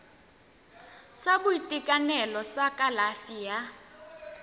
sa boitekanelo sa kalafi ya